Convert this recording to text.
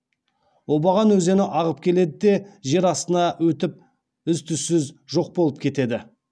обаған өзені ағып келеді де жер астына өтіп із түзсіз жоқ болып кетеді